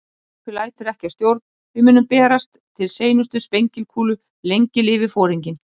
Skipið lætur ekki að stjórn, við munum berjast til seinustu sprengikúlu- lengi lifi Foringinn